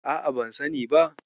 A'a, ban sani ba.